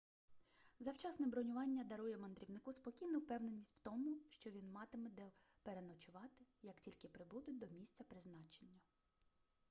завчасне бронювання дарує мандрівнику спокійну впевненість в тому що він матиме де переночувати як тільки прибуде до місця призначення